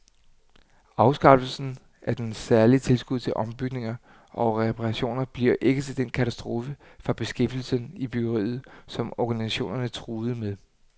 Afskaffelsen af det særlige tilskud til ombygninger og reparationer bliver ikke den katastrofe for beskæftigelsen i byggeriet, som organisationerne truede med.